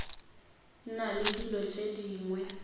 na le dilo tše dingwe